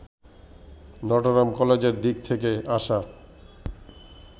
Notre Dame কলেজের দিক থেকে আসা